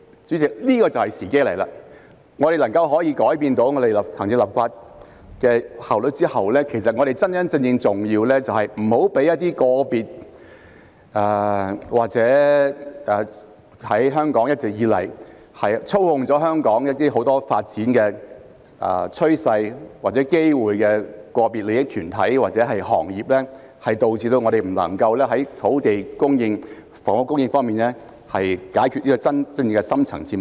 主席，現在時機到了，在我們改善行政立法的效率後，真正重要的是抵擋一些一直以來操控香港很多發展趨勢或機會的個別利益團體或行業，以免導致我們不能在土地供應、房屋供應方面解決真正的深層次矛盾。